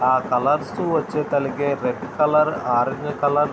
ఆ కలర్స్ తో వచ్చా కలిగే రెడ్ కలర్ ఆరంజ్ కలర్ --